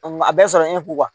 a bɛɛ sɔrɔlen kun kan